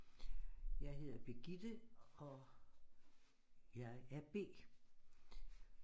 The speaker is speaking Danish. Jeg hedder Birgitte og jeg er B